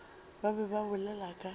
ba be ba bolela ka